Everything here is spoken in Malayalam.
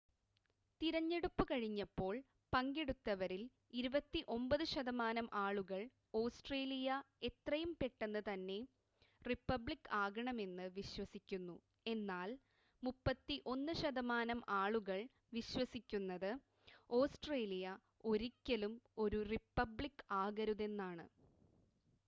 തിരഞ്ഞെടുപ്പ് കഴിഞ്ഞപ്പോൾ പങ്കെടുത്തവരിൽ 29 ശതമാനം ആളുകൾ ഓസ്‌ട്രേലിയ എത്രയും പെട്ടെന്ന് തന്നെ റിപ്പബ്ലിക്ക് ആകണമെന്ന് വിശ്വസിക്കുന്നു എന്നാൽ 31 ശതമാനം ആളുകൾ വിശ്വസിക്കുന്നത് ഓസ്‌ട്രേലിയ ഒരിക്കലും ഒരു റിപ്പബ്ലിക്ക് ആകരുതെന്നാണ്